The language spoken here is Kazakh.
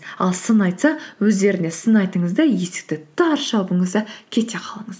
ал сын айтса өздеріне сын айтыңыз да есікті тарс жабыңыз да кете қалыңыз